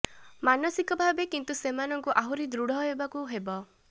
ମାନସିକ ଭାବେ କିନ୍ତୁ ସେମାନଙ୍କୁ ଆହୁରି ଦୃଢ଼ ହେବାକୁ ହେବ